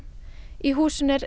í húsinu er